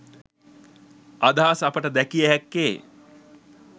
අදහස් අපට දැකිය හැක්කේ